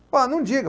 Falei, ah, não diga.